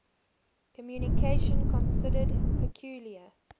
communication considered peculiar